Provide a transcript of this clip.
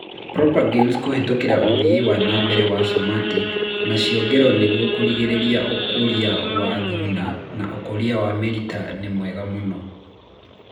propagules kũhetũkĩra ũthii wana mbere wa somatic na ciongero nĩguo kũrigĩrĩria ũkũria wa thuna na ũkũria wa mĩrita nĩ mwega mũno